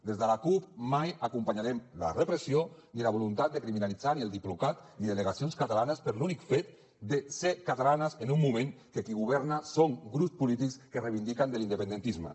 des de la cup mai acompanyaren la repressió ni la voluntat de criminalitzar ni el diplocat ni delegacions catalanes per l’únic fet de ser catalanes en un moment que qui governa són grups polítics que es reivindiquen de l’independentisme